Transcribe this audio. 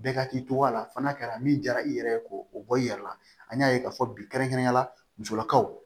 Bɛɛ ka k'i tɔgɔ la fɔ n'a kɛra min jara i yɛrɛ ye ko o bɔ i yɛrɛ la an y'a ye k'a fɔ bi kɛrɛnkɛrɛnyala musolakaw